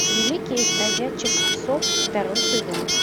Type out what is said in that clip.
великий из бродячих псов второй сезон